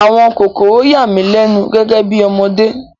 Àwọn kòkòrò yà mí lẹ́nu gẹ́gẹ́ bí ọmọdé